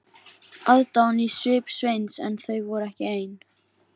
Aðdáun í svip Sveins en þau voru ekki ein.